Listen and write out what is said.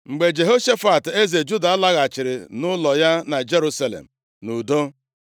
Mgbe Jehoshafat, eze Juda, laghachiri nʼụlọ ya na Jerusalem nʼudo. + 19:1 Na-emerụghị ahụ ọbụla